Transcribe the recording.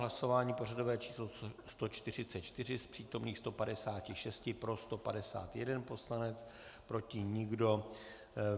Hlasování pořadové číslo 144, z přítomných 156 pro 151 poslanec, proti nikdo.